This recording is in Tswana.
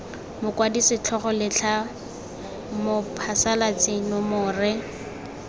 mokwadi setlhogo letlha mophasalatsi nomore